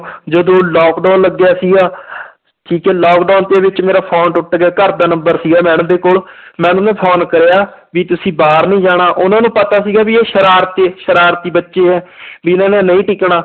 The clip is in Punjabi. ਜਦੋਂ lockdown ਲੱਗਿਆ ਸੀਗਾ ਠੀਕ ਹੈ lockdown ਦੇ ਵਿੱਚ ਮੇਰਾ phone ਟੁੱਟ ਗਿਆ ਘਰਦਾ number ਸੀਗਾ madam ਦੇ ਕੋਲ madam ਨੂੰ phone ਕਰਿਆ ਵੀ ਤੁਸੀਂ ਬਾਹਰ ਨੀ ਜਾਣਾ, ਉਹਨਾਂ ਨੂੰ ਪਤਾ ਸੀਗਾ ਵੀ ਇਹ ਸਰਾਰਤੀ ਸਰਾਰਤੀ ਬੱਚੇ ਹੈ ਵੀ ਇਹਨਾਂ ਨੇ ਨਹੀਂ ਟਿਕਣਾ